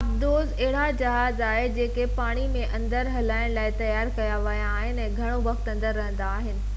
آبدوز اهڙا جهاز آهي جيڪي پاڻي جي اندر هلائڻ لاءِ تيار ڪيا ويا آهن ۽ گهڻو وقت اندر رهندا آهن